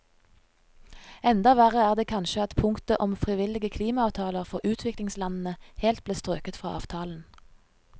Enda verre er det kanskje at punktet om frivillige klimaavtaler for utviklingslandene helt ble strøket fra avtalen.